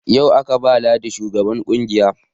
Yau aka ba ladi shugaban ƙungiyar